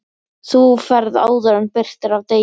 Þú ferð áður en birtir af degi.